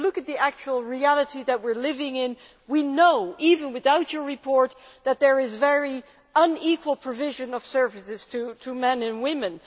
If you look at the actual reality that we are living in, we know even without your report that there is very unequal provision of services to men and women.